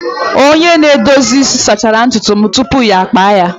Onye na-edozi isi sachara ntutu m tupu ọ kpa ya.